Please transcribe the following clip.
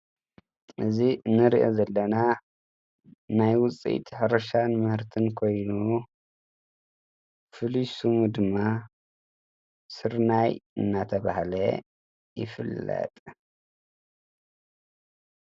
እዚ እንርእዮ ዘለና ናይ ውፅኢት ሕርሻ ምህርትን ኮይኑ ፍሉይ ስሙ ድማ ስርናይ እናተባህለ ይፍለጥ።